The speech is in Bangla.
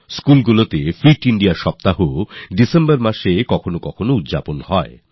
স্কুলস ফিট Indiaসপ্তাহ ডিসেম্বর মাসে যে কোনও সপ্তাহে পালন করতে পারে